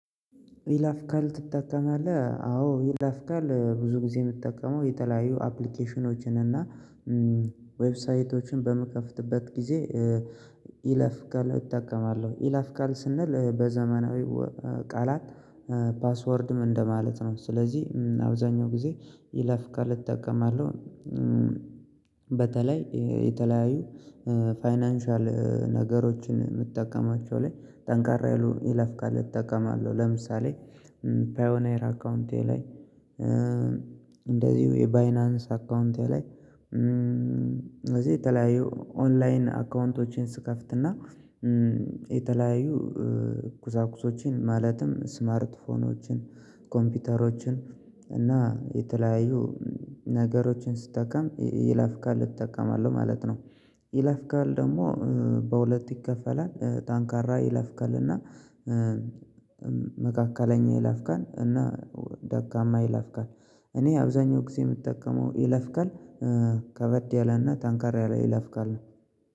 ይለፍ ቃል ትጠቀማለህ አዎ ይለፍ ቃል ብዙ ጊዜ የምትጠቀመው የተለያዩ አፕሊኬሽኖችን እና ዌብሳይቶችን በምከፍትበት ጊዜ? ይለፍ ቃለ እጠቀማለሁ ይለፍ ካለ ስንል በዘመናዊ ቃላት ፓስወርድም እንደማለት ነው ስለዚህ አብዛኛው ጊዜ ይለፍ ቃል እተጠቀማለሁ። በተለይ የተለያዩ ፋይናንሻል ነገሮችን የምትጠቀማቸው ላይ ጠንካራ ይሉ ይለፍ ቃል እጠቀማለሁ ለምሳሌ ፓዮኔር አካውንቴ ላይ እንደዚሁ የባይናንስ አካውንቴ ላይ። ስለዚህ የተለያዩ ኦንላይን አካውንቶችን ስከፍትና የተለያዩ ቁሳቁሶችን ማለትም ስማርት ስልኮችን ኮምፒውተሮችን እና የተለያዩ ነገሮችን ስጠቀም ይላፍቃል እጠቀማለሁ ማለት ነው። ይላፍቃል ደግሞ በሁለት ይከፈላል ጠንካራ ይለፍ ቃል እና መካከለኛ ይለፍ ቃል እና ደካማ ይለፍ ቃል። እኔ አብዛኛው ጊዜ የምጠቀመው ይለፍ ቃል ከበድ ያለና ጠንከር ያለ ይለፍ ቃል ነው